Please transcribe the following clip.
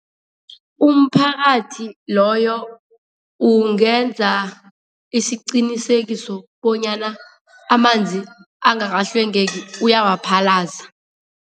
Umphakathi loyo ungenza isiqinisekiso banyana amanzi angakahlwengeki uyawaphalaza.